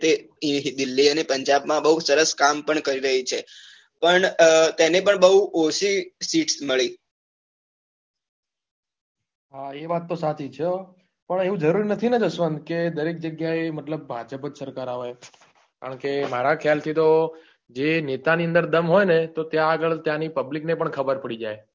હા એ વાત તો સાચી જ છે અ પણ એવું જરૂરી નથી ને જસવંત કે દરેક જગ્યાએ મતલબ ભાજપ સરકાર આવાય કારણકે મારા ખ્યાલથી તો જે નેતા ની અંદર દમ હોય ને તો ત્યાં આગળ ત્યાં pablic ને પણ ખબર પડી જાય